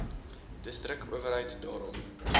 distrik owerheid daarom